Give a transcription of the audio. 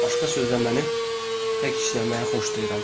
Başqa sözlə mənə tək işləməyi xoşlayıram.